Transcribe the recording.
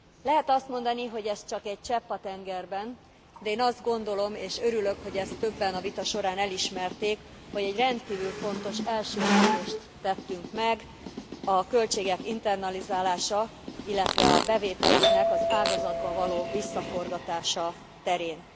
Lehet azt mondani, hogy ez csak egy csepp a tengerben, de én azt gondolom, és örülök, hogy ezt többen a vita során elismerték, hogy egy rendkívül fontos első lépést tettünk meg a költségek internalizálása, illetve a bevételeknek az ágazatba való visszaforgatása terén.